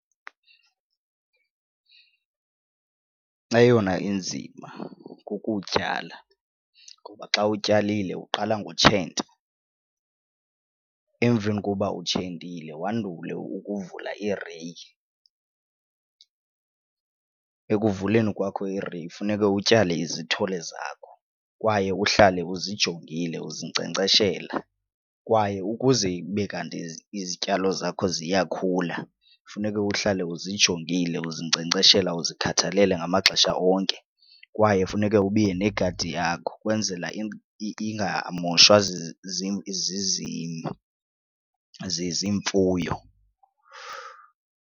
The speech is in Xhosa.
Eyona inzima kukutyala ngoba xa utyalile uqala ngotshenta. Emveni koba utshentile wandule ukuvula ireyi. Ekuvuleni kwakho ireyi funeke utyale izithole zakho kwaye uhlale uzijongile uzinkcenkceshela. Kwaye ukuze ibe kanti izityalo zakho ziyakhula kufuneka uhlale uzijongile uzinkcenkceshela uzikhathalela ngamaxesha onke, kwaye funeke ubiye negadi yakho ukwenzela ingamoshwa ziimfuyo